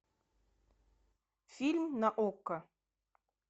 фильм на окко